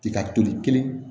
I ka toli kelen